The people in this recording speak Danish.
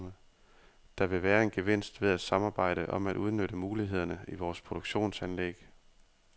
Der vil være en gevinst ved at samarbejde om at udnytte mulighederne i vores produktionsanlæg.